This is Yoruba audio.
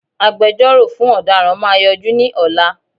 Agbẹjọ́rọ̀ fún ọ̀daràn máa yọjú ní ọ̀la